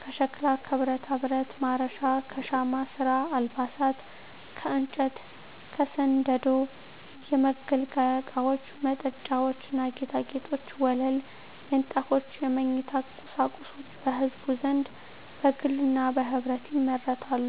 ከሸክላ ከብረታብረት (ማረሻ) ከሻማ ስራ አልባሳት ከእንጨት ከስንደዶ የመገልገያ እቃወች መጠጫዎች ና ጌጣጌጦች ወለል ምንጣፎች የመኝታ ቁሳቁሶች በህዝቡ ዘንድ በግልና በህብረት ይመረታሉ።